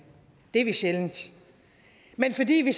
det er vi sjældent men fordi vi